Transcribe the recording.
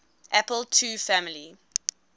apple ii family